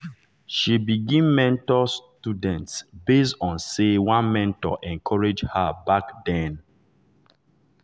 she begin mentor students base on say one mentor encourage her back then.